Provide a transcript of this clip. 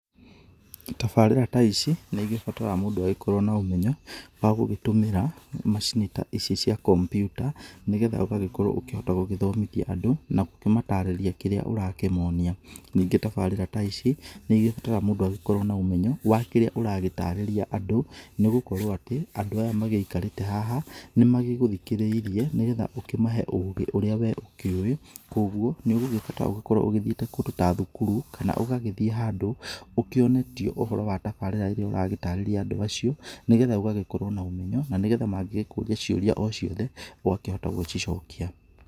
Tabarĩra ta ici nĩ igĩbataraga mũndũ akorwo na ũmenyo wa gũgĩtũmĩra macini ta ici cia kompyuta nĩgetha ũgagĩkorwo ukĩhota gũgĩthomithia andũ na gũkĩmatarĩria kĩrĩa ũrakĩmonia. Ningĩ tabarĩra ta ici nĩ ĩgĩbataraga mũndũ agikorwo na ũmenyo wa kĩrĩa ũragĩtarĩria andu nĩ gũkorwo atĩ andũ aya magĩikarĩte haha nĩ magĩgũthikĩrĩirie nĩgetha ũkĩmahe ũgĩ ũrĩa we ũkĩũĩ, kwoguo ni ũgĩgũbatara ũgĩkorwo ũthiĩte kũndũ ta thukuru kana ũgagĩthiĩ handũ ũkĩonetio ũhoro wa tabarĩra ĩrĩa ũragĩtarĩria andũ acio, nĩgetha ũgagĩkorwo na ũmenyo na nĩgetha magĩgĩkũria ciũria o ciothe ũgakĩhota gũgĩcicokia.